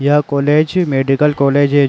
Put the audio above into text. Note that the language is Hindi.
यह कॉलेज मेडिकल कॉलेज है।